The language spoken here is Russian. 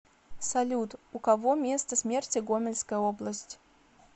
салют у кого место смерти гомельская область